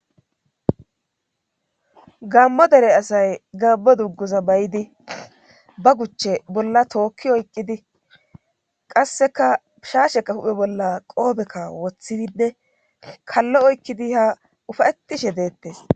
gammo dere asay gammo dugguza bayidi ba guchche bolla tookki oyqqidi qasseka pishaasheka huphe bolla qoobekka woththidide kallo oykkidi ha ufayettishe deettes